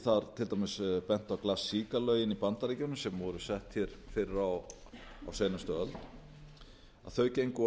get ég þar til dæmis bent á plasica lögin í bandaríkjunum sem voru sett hér fyrr á seinustu öld þau gengu of